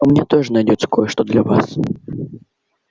у меня тоже найдётся кое-что для вас